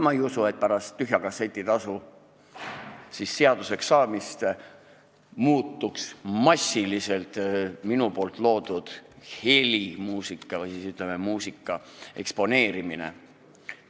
Ma ei usu, et pärast tühja kasseti tasu seaduseks saamist muutuks massiliseks minu loodud muusika eksponeerimine.